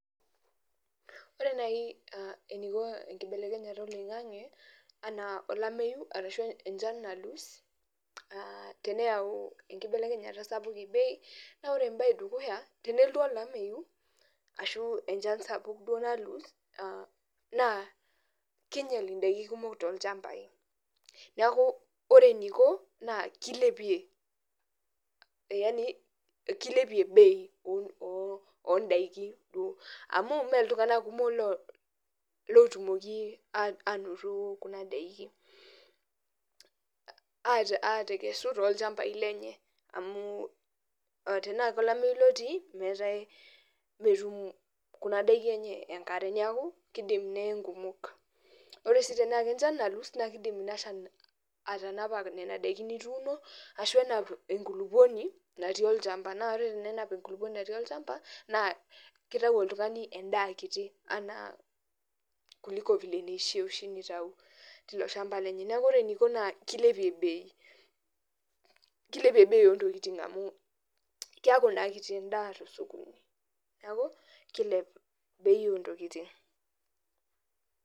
Ore nai eniko enkibelekenyata oloing'ang'e, anaa olameyu arashu enchan nalus, teneyau enkibelekenyata sapuk bei, na ore ebae edukuya tenelotu olameyu, ashu enchan sapuk duo nalus, naa kinyel idaiki kumok tolchambai. Neeku ore eniko, naa kilepie, yani kilepie bei odaiki duo. Amu meltung'anak kumok lotumoki anoto kuna daiki. Atekesu tolchambai lenye amu tenaa kolameyu lotii, metum kuna daiki enye enkare. Neeku, kidim neye nkumok. Ore si tenaa kenchan nalus, na kidim inashan atanapa nena daikin nituuno, ashu enap enkulukuoni natii olchamba. Na ore tenenap enkulukuoni natii olchamba, na kitau oltung'ani endaa kiti anaa kuliko vile nishaa nitau tilo shamba lenye. Neeku ore eniko naa kilepie bei. Kilepie bei ontokiting amu keeku naa kiti endaa tosokoni. Neeku, kilep bei ontokiting.